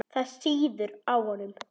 Það sýður á honum.